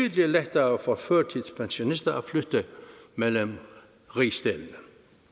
lettere for førtidspensionister at flytte mellem rigsdelene